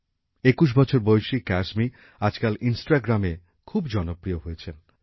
২১ বছর বয়সী ক্যায়সমি আজকাল ইন্সটাগ্রামে খুব জনপ্রিয় হয়েছেন